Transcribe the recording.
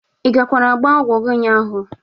Ị gakwara gba ọgwo gi ụnyaahụ?